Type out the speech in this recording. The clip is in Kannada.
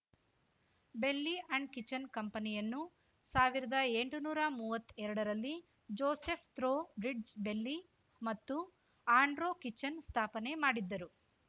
ಬೆಲ್ಲಿ ಅಂಡ್ ಕಿಚನ್ ಕಂಪನಿಯನ್ನು ಸಾವಿರದ ಎಂಟನೂರಾ ಮೂವತ್ತೆರಡ ರಲ್ಲಿ ಜೋಸೆಫ್ ಥ್ರೋ ಬ್ರಿಡ್ಜ್ ಬೆಲ್ಲಿ ಮತ್ತು ಆಂಡ್ರ್ಯೂ ಕಿಚನ್ ಸ್ಥಾಪನೆ ಮಾಡಿದ್ದರು